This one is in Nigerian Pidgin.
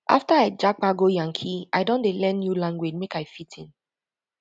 after i japa go yankee i don dey learn new language make i fit in